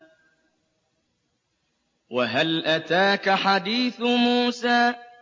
وَهَلْ أَتَاكَ حَدِيثُ مُوسَىٰ